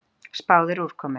Spáð er úrkomu.